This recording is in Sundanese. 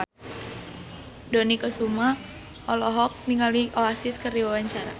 Dony Kesuma olohok ningali Oasis keur diwawancara